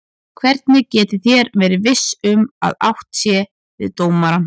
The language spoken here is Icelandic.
Hvernig getið þér verið viss um að átt sé við dómarann?